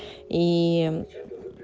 ии